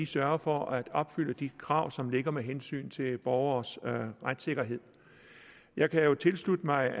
sørger for at opfylde de krav som selvfølgelig ligger med hensyn til borgeres retssikkerhed jeg kan tilslutte mig